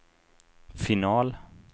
final